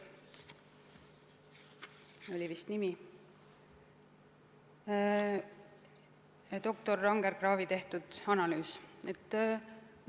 Suures osas on tegu doktor Anger-Kraavi tehtud analüüsiga.